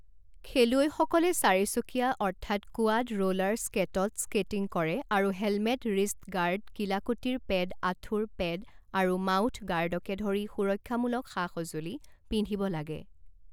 খেলুৱৈসকলে চাৰিচকীয়া অৰ্থাৎ কোৱাড ৰোলাৰ স্কেটত স্কেটিং কৰে আৰু হেলমেট ৰিষ্ট গাৰ্ড কিলাকুটিৰ পেড আঁঠুৰ পেড আৰু মাউথ গাৰ্ডকে ধৰি সুৰক্ষামূলক সা সঁজুলি পিন্ধিব লাগে।